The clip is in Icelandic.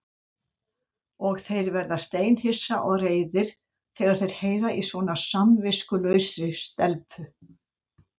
Og þeir verða steinhissa og reiðir þegar þeir heyra í svona samviskulausri stelpu.